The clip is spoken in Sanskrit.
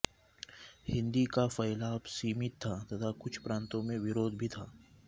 हिन्दी का फैलाब सीमित था तथा कुछ प्रान्तों में विरोध भी था